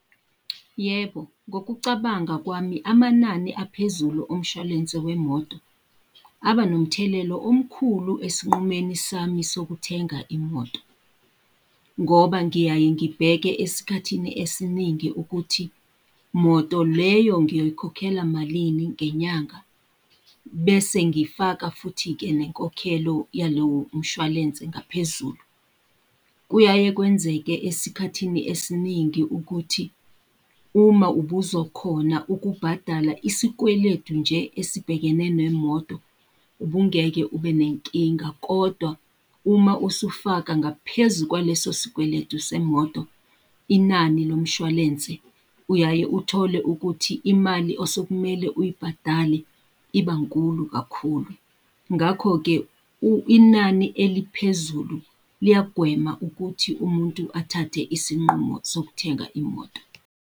Yebo, ngokucabanga kwami amanani aphezulu omshwalense wemoto, aba nomthelelo omkhulu esinqumeni sami sokuthenga imoto. Ngoba ngiyaye ngibheke esikhathini esiningi ukuthi, moto leyo ngiyoyikhokhela malini ngenyanga, bese ngifaka futhi-ke nenkokhelo yalewo mshwalense ngaphezulu. Kuyaye kwenzeke esikhathini esiningi ukuthi uma ubuzokhona ukubhadala isikweletu nje esibhekene nemoto, ubungeke ube nenkinga, kodwa uma usufaka ngaphezu kwaleso sikweletu semoto, inani lo mshwalense, uyaye uthole ukuthi imali osekumele uyibhadale iba nkulu kakhulu. Ngakho-ke inani eliphezulu liyagwema ukuthi umuntu athathe isinqumo sokuthenga imoto.